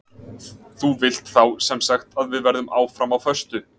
Þú vilt þá sem sagt að við verðum áfram á föstu?